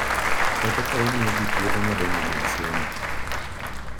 Kata ka omiyo ji thuolo madongo mag somo.